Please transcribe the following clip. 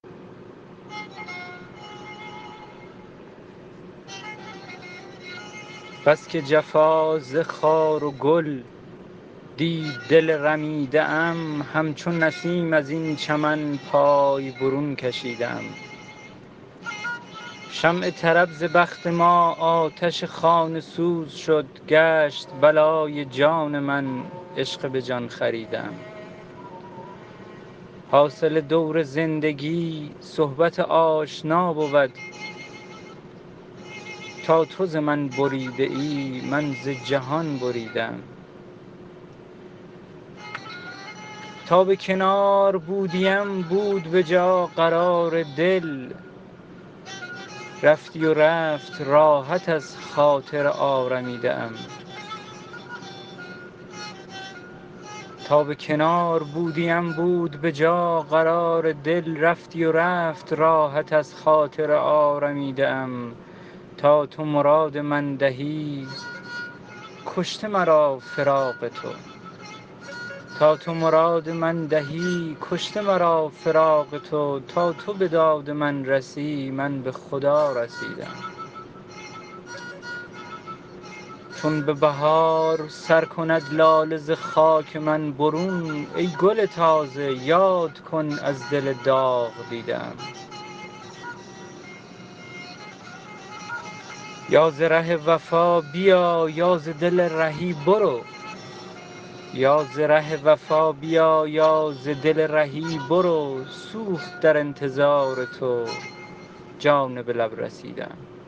بس که جفا ز خار و گل دید دل رمیده ام همچو نسیم از این چمن پای برون کشیده ام شمع طرب ز بخت ما آتش خانه سوز شد گشت بلای جان من عشق به جان خریده ام حاصل دور زندگی صحبت آشنا بود تا تو ز من بریده ای من ز جهان بریده ام تا به کنار بودیم بود به جا قرار دل رفتی و رفت راحت از خاطر آرمیده ام تا تو مراد من دهی کشته مرا فراق تو تا تو به داد من رسی من به خدا رسیده ام چون به بهار سر کند لاله ز خاک من برون ای گل تازه یاد کن از دل داغ دیده ام یا ز ره وفا بیا یا ز دل رهی برو سوخت در انتظار تو جان به لب رسیده ام